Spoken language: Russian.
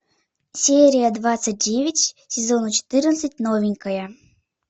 серия двадцать девять сезона четырнадцать новенькая